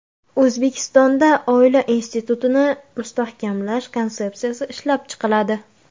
O‘zbekistonda oila institutini mustahkamlash konsepsiyasi ishlab chiqiladi.